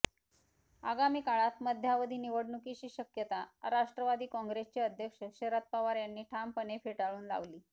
आगामी काळात मध्यावधी निवडणुकीची शक्यता राष्ट्रवादी काँग्रेसचे अध्यक्ष शरद पवार यांनी ठामपणे फेटाळून लावली